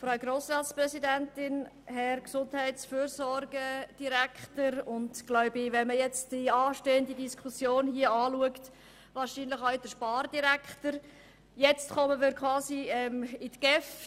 Frau Grossratspräsidentin, Herr Gesundheits- und Fürsorgedirektor – und wenn man die anstehenden Diskussionen betrachtet, kann man wahrscheinlich auch «Herr Spardirektor» sagen – jetzt kommen wir zur GEF.